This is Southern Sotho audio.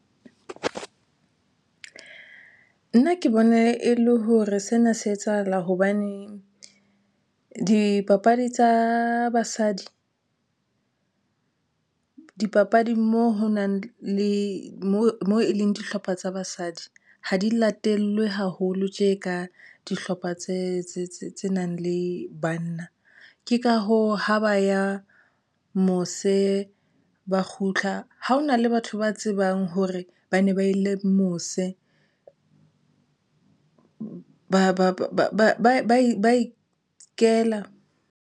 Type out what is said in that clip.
Nna ke bona e le hore sena se etsahala hobaneng dipapadi tsa basadi, dipapading mo ho nang le mo e leng dihlopha tsa basadi ha di latellwe haholo tje ka dihlopha tse nang le banna. Ke ka hoo ha ba ya mose ba kgutla ha hona le batho ba tsebang hore ba ne ba ile mose, ba e ba ikela.